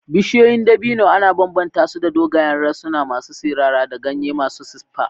Bishiyoyin dabino ana bambanta su da dogayen rassansu masu sirara da ganye masu siffa.